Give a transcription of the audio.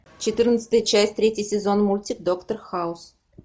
четырнадцатая часть третий сезон мультик доктор хаус